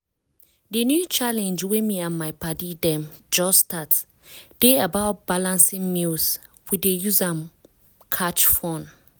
di new challenge wey me and my padi dem just start dey about balancing meals. we dey use am catch fun.